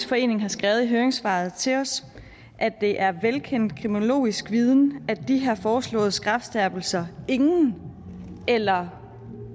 forening har skrevet i høringssvaret til os det er velkendt kriminologisk viden at de foreslåede strafskærpelser har ingen eller